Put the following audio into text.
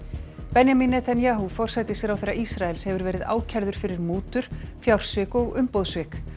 Benjamin Netanyahu forsætisráðherra Ísraels hefur verið ákærður fyrir mútur fjársvik og umboðssvik